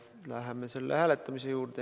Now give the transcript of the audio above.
Läheme selle hääletamise juurde.